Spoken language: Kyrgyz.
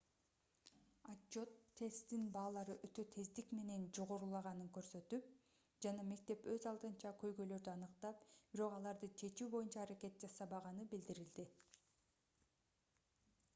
отчёт тесттин баалары өтө тездик менен жогорулаганын көрсөтүп жана мектеп өз алдынча көйгөйлөрдү аныктап бирок аларды чечүү боюнча аракет жасабаганы билдирилди